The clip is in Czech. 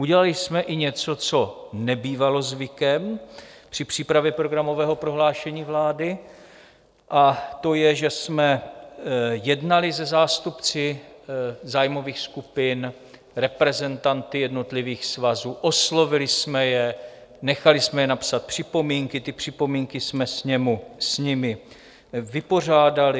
Udělali jsme i něco, co nebývalo zvykem při přípravě programového prohlášení vlády, a to je, že jsme jednali se zástupci zájmových skupin, reprezentanty jednotlivých svazů, oslovili jsme je, nechali jsme je napsat připomínky, ty připomínky jsme s nimi vypořádali.